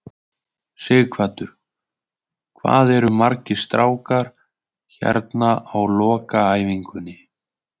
Sighvatur: Hvað eru margir strákar hérna á lokaæfingunni?